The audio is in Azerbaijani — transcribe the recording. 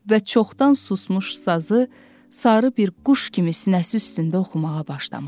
Və çoxdan susmuş sazı sarı bir quş kimi sinəsi üstündə oxumağa başlamışdı.